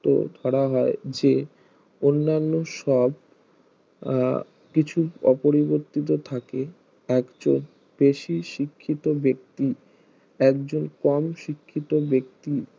শর্ত ধরা হয় যে অন্নান্য সব আহ কিছু অপরিবর্তিত থাকে একচুল বেশি শিক্ষিত ব্যক্তি একজন কম শিক্ষিত ব্যক্তি